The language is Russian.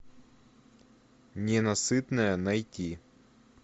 ненасытная найти